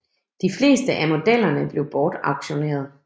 De fleste af modellerne blev bortauktioneret